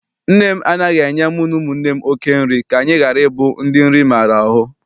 Nne m anaghị enye mu na ụmụnne m oké nri ka anyị ghara ịbụ ndị nri maara ahụ.